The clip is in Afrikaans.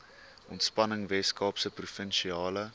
ontspanning weskaapse provinsiale